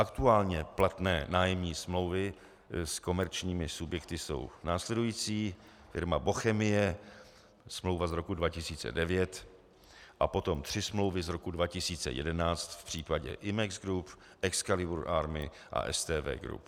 Aktuálně platné nájemní smlouvy s komerčními subjekty jsou následující: Firma Bochemie, smlouva z roku 2009, a potom tři smlouvy z roku 2011 v případě Imex Group, Excalibur Army a STV Group.